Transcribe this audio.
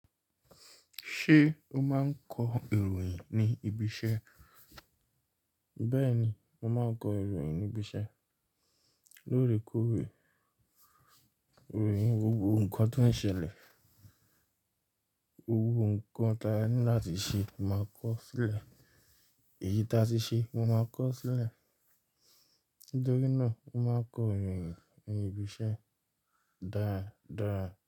Ṣé o máa ń kọ ìròyìn ní ibi iṣẹ́? Bẹ́ẹ̀ni, mo máa ń kọ ìròyìn ní ibi iṣẹ́. Lóòrèkóòrè, ìròyìn gbogbo nnkan tó ń ṣẹlẹ̀, gbogbo nnkan tí a ní láti ṣe, mo máa kọ sílẹ̀. Èyí tí a ti ṣe, mo máa kọ sílẹ̀. Nítorí náà mo máa ń kọ ìròyìn ní ibi iṣẹ́ dáadáa.